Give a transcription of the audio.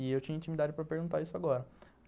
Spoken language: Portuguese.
E eu tinha intimidade para perguntar isso agora.